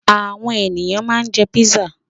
Àwọn ènìyàn ma ń jẹ́ písà